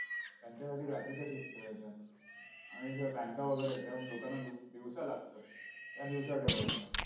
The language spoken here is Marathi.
त्यांच्यासाठी रात्रीच्या shifts ठेवायच्या. आणि ज्या banks वगैरे आहेत, त्या लोकांना लु दिवसा लागतात, त्या दिवसा ठेवायच्या.